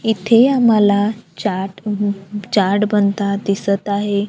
येथे आम्हाला चाट चाट बनता दिसतं आहे.